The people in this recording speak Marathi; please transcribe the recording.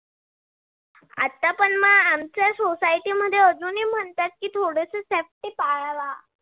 आता पण म आमच्या society मध्ये अजूनही म्हणतात की थोडस safety पाळावा.